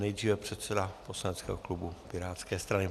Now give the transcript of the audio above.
Nejdříve předseda poslaneckého klubu pirátské strany.